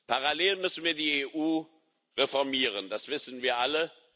Parallel dazu müssen wir die EU reformieren das wissen wir alle.